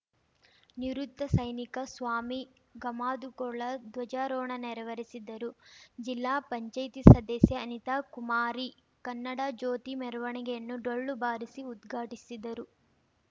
ನಿವೃತ್ತ ಸೈನಿಕ ಸ್ವಾಮಿ ಗಾಮದುಗೊಳ್ಳ ಧ್ವಜಾರೋಹಣ ನೆರವೇರಿಸಿದ್ದರು ಜಿಲ್ಲಾಪಂಚಾಯತಿ ಸದಸ್ಯೆ ಅನಿತಾಕುಮಾರಿ ಕನ್ನಡಜ್ಯೋತಿ ಮೆರವಣಿಗೆಯನ್ನು ಡೊಳ್ಳು ಬಾರಿಸಿ ಉದ್ಘಾಟಿಸಿದರು